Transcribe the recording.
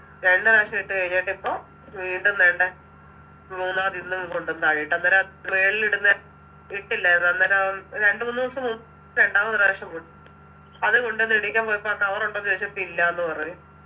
രണ്ടു പ്രാവശ്യം ഇട്ട് കഴിഞ്ഞിട്ടിപ്പോ വീണ്ടും ദേണ്ടെ മൂന്നാമത് ഇന്നും കൊണ്ടന്ന് താഴെയിട്ട് അന്നേരം ആഹ് tray ലിടുന്നെ ഇട്ടില്ലാരുന്നോ അന്നേരം രണ്ടുമൂന്നുസം മു രണ്ടാമതൊരു പ്രാവശ്യം അത് കൊണ്ടന്നിടീയ്ക്കാൻ പോയപ്പോ ആ cover ഉണ്ടോന്നു ചോയ്ച്ചപ്പോ ഇല്ലാന്ന് പറഞ്ഞു